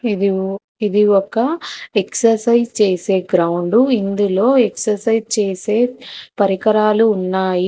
ఇది ఓ ఒక ఎక్సర్సైజ్ చేసే గ్రౌండు ఇందులో ఎక్సర్సైజ్ చేసే పరికరాలు ఉన్నాయి.